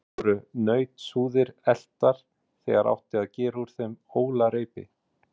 Oft voru nautshúðir eltar, þegar átti að gera úr þeim ólarreipi.